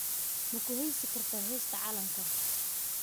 Ma ku heesi kartaa heesta calanka?